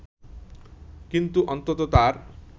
কিন্তু অন্তত তার